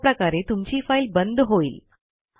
अशा प्रकारे तुमची फाईल बंद होईल